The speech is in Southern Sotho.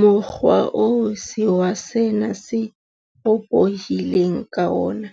Mokgwa oo sewa sena se ropohileng ka wona